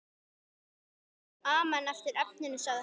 Amen eftir efninu sagði hann.